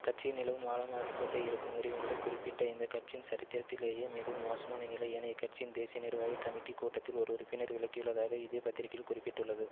கட்சியில் நிலவும் ஆழமாகி கொண்டே இருக்கும் முறிவுகளை குறிப்பிட்டு இந்த கட்சியின் சரித்திரத்திலேயே மிகவும் மோசமான நிலை என இக்கட்சியின் தேசிய நிர்வாகிக் கமிட்டி கூட்டத்தில் ஒரு உறுப்பினர் விளக்கியுள்ளதாக இதே பத்திரிகையில் குறிப்பிட பட்டுள்ளது